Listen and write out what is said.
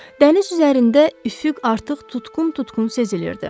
Dəniz üzərində üfüq artıq tutqun-tutqun sezilirdi.